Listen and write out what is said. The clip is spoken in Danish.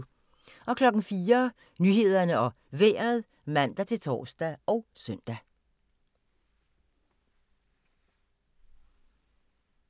04:00: Nyhederne og Vejret (man-tor og søn)